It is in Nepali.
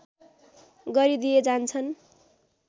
गरिदिए जान्छन्